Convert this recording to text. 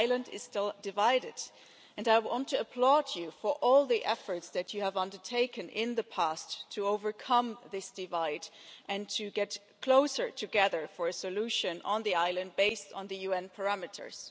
Your island is still divided, and I want to applaud you for all the efforts that you have undertaken in the past to overcome this divide and to get closer together for a solution on the island, based on the UN parameters.